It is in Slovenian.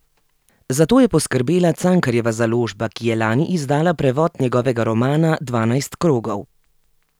Za to je poskrbela Cankarjeva založba, ki je lani izdala prevod njegovega romana Dvanajst krogov.